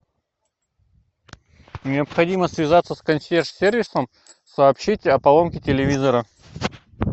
необходимо связаться с консьерж сервисом сообщить о поломке телевизора